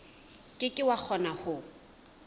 ke ke wa kgona ho